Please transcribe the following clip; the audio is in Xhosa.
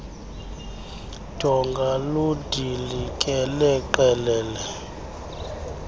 donga ludilikele qelele